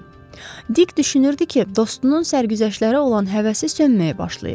Dik düşünürdü ki, dostunun sərgüzəştlərə olan həvəsi sönməyə başlayıb.